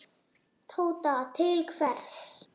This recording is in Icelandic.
Tóta: Til hvers?